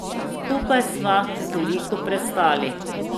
Skupaj sva toliko prestali.